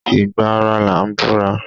Ìgbà ara là ń búra.